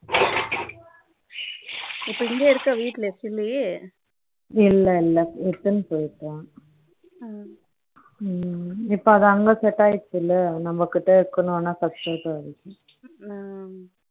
இப்ப இங்கே இருக்க வீட்லயா இருக்க கிளி இல்ல இல்ல எடுத்துனு போயிட்டான் இப்போது அங்கு set ஆயிடுச்சு இல்ல நம்மகிட்ட இருக்கனும்னா first